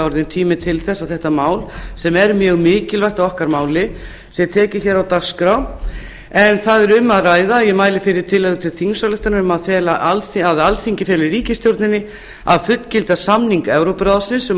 kominn tími til að þetta mál sem er mjög mikilvægt að okkar mati sé tekið hér á dagskrá hér er um að ræða tillögu til þingsályktunar um að alþingi feli ríkisstjórninni að fullgilda samning evrópuráðsins um